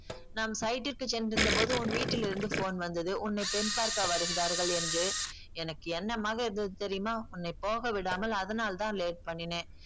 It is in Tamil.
நான் site க்கு சென்றிருந்தபோது உன் வீட்டில் இருந்து phone வந்தது உன்னை பெண் பார்க்க வருகிறார்கள் என்று எனக்கு என்னமாக இருந்தது தெரியுமா உன்னை போக விடாமல் அதனால்தான் late பண்ணினேன்